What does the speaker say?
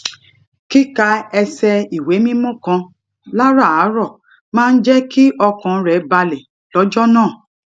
kíka ẹsẹ ìwé mímó kan láràárò máa ń jé kí ọkàn rè balè lójó náà